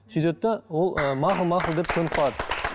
сөйтеді де ол ыыы мақұл мақұл деп көніп қалады